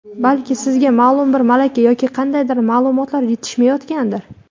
Balki sizga ma’lum bir malaka yoki qandaydir ma’lumotlar yetishmayotgandir.